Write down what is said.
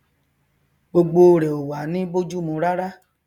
gbogbo rẹ ò wá ní bójúmu rárá